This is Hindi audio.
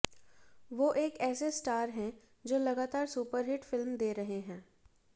वो एक ऐसे स्टार हैं जो लगातार सुपरहिट फिल्म दे रहे हैं